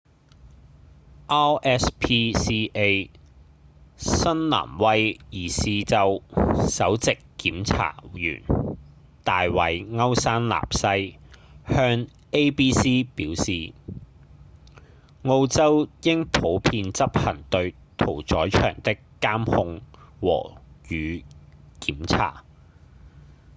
rspca 新南威爾斯州首席檢查員大衛‧歐山納西向 abc 表示澳洲應普遍執行對屠宰場的監控和與檢查